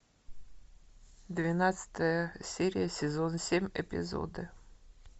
двенадцатая серия сезон семь эпизоды